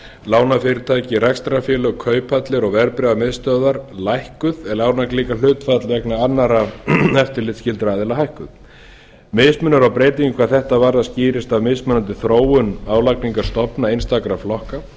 lánafyrirtæki rekstrarfélög kauphallir og verðbréfamiðstöðvar lækkuð en álagningarhlutfall vegna annarra eftirlitsskyldra aðila hækkuð mismunur á breytingu hvað þetta varðar skýrist af mismunandi þróun álagningarstofna einstakra flokka